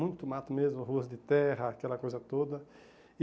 Muito mato mesmo, ruas de terra, aquela coisa toda.